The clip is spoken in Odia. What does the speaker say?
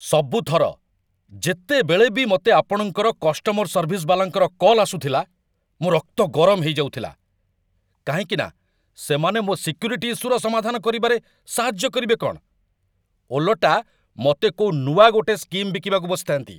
ସବୁଥର, ଯେତେବେଳେ ବି ମତେ ଆପଣଙ୍କ କଷ୍ଟମର ସର୍ଭିସ୍ ବାଲାଙ୍କର କଲ୍ ଆସୁଥିଲା, ମୋ' ରକ୍ତ ଗରମ ହେଇଯାଉଥିଲା, କାହିଁକିନା ସେମାନେ ମୋ' ସିକ୍ୟୁରିଟି ଇସ୍ୟୁର ସମାଧାନ କରିବାରେ ସାହାଯ୍ୟ କରିବେ କ'ଣ, ଓଲଟା ମତେ କୋଉ ଗୋଟେ ନୂଆ ସ୍କିମ୍ ବିକିବାକୁ ବସିଥା'ନ୍ତି ।